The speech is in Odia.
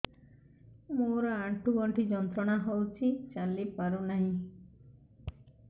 ମୋରୋ ଆଣ୍ଠୁଗଣ୍ଠି ଯନ୍ତ୍ରଣା ହଉଚି ଚାଲିପାରୁନାହିଁ